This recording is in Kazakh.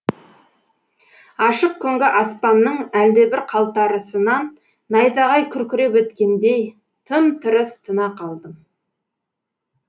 ашық күнгі аспанның әлдебір қалтарысынан найзағай күркіреп өткендей тым тырыс тына қалдым